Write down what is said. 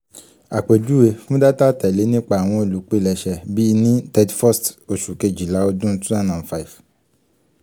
apejuwe: fun data atẹle um nipa awọn olupilẹṣẹ bi ni thirty first um oṣu kejila ọdun two thousand and five